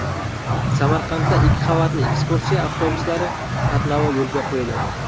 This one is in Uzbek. Samarqandda ikki qavatli ekskursiya avtobuslari qatnovi yo‘lga qo‘yiladi.